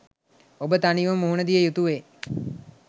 ඔබ තනිවම මුහුණ දිය යුතුවේ.